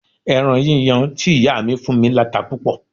Ẹran yíyan tí ìyá mi fún mí láta púpọ̀